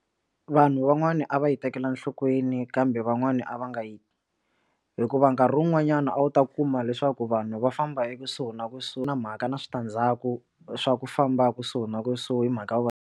Vanhu van'wana a va yi tekela nhlokweni kambe van'wana a va nga yi hikuva nkarhi wun'wanyana a wu ta kuma leswaku vanhu va famba ekusuhi na kusuhi na mhaka na switandzhaku swa ku famba kusuhi na kusuhi hi mhaka ku va.